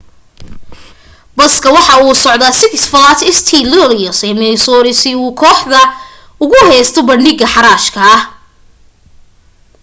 baska waxa uu usocde six flags st louis ee missouri si ay kooxda ugu heesto bandhig xaraasha